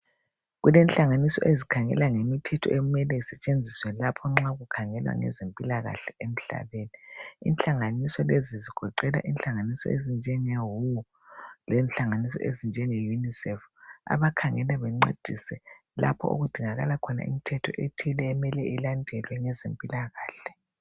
Kulenhlanganiso ezikhangela ngemithetho ekumele isetshenziswe lapho nxa kukhangelwa ngezempilakahle emhlabeni. Inhlanganiso lezi ezigoqela inhlanganiso ezinjenge WHO , lenhlanganiso ezinjenge UNICEF .Abakhangela bencedise ,lapho okudingakala khona imithetho ethile okumele ilandelwe ngezempilakahle.